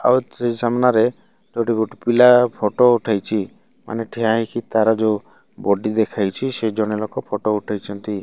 ଆଉ ସେଇ ସାମ୍ନାରେ ଏଠି ଗୁଟେ ପିଲା ଫଟୋ ଉଠେଇଚି ମାନେ ଠିଆ ହେଇକି ତାର ଯଉ ବଡି ଦେଖାଇଛି ସେଜଣେ ଲୋକ ଫଟୋ ଉଠାଇଛନ୍ତି।